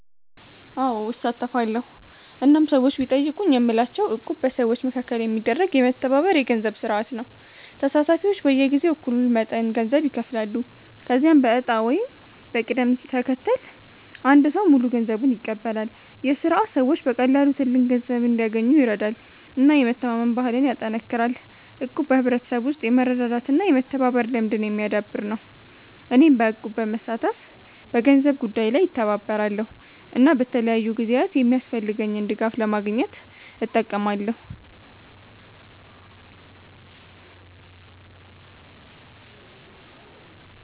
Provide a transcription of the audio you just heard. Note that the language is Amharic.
አዎ፣ እሳተፋለሁ እናም ሰዎች ቢጠይቁኝ የምላቸው እቁብ በሰዎች መካከል የሚደረግ የመተባበር የገንዘብ ስርዓት ነው። ተሳታፊዎች በየጊዜው እኩል መጠን ገንዘብ ይከፍላሉ፣ ከዚያም በዕጣ ወይም በቅደም ተከተል አንድ ሰው ሙሉ ገንዘቡን ይቀበላል። ይህ ስርዓት ሰዎች በቀላሉ ትልቅ ገንዘብ እንዲያገኙ ይረዳል እና የመተማመን ባህልን ያጠናክራል። እቁብ በሕብረተሰብ ውስጥ የመረዳዳት እና የመተባበር ልምድን የሚያዳብር ነው። እኔም በእቁብ በመሳተፍ በገንዘብ ጉዳይ ላይ እተባበራለሁ እና በተለያዩ ጊዜያት የሚያስፈልገኝን ድጋፍ ለማግኘት እጠቀማለሁ።